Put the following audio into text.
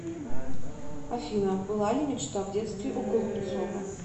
афина была ли мечта в детстве у голубцова